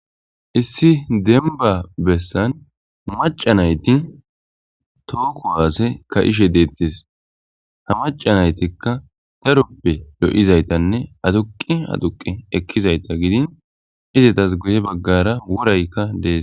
Issi demba bessan macanaytin tooku waase ka ishe deettis ha macanaytikka taruppe do7izaytanne atuqi aduqi ekkizayta gidin izitas guye baggara wuraykka dees.